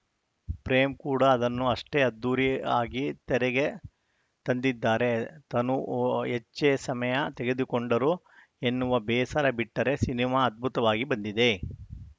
ಪ್ರೇಮ್‌ ಕೂಡ ಅದನ್ನು ಅಷ್ಟೇ ಅದ್ಧೂರಿ ಆಗಿ ತೆರೆಗೆ ತಂದಿದ್ದಾರೆ ತನು ಹೆಚ್ಚೇ ಸಮಯ ತೆಗೆದುಕೊಂಡರು ಎನ್ನುವ ಬೇಸರ ಬಿಟ್ಟರೆ ಸಿನಿಮಾ ಅದ್ಭುತವಾಗಿ ಬಂದಿದೆ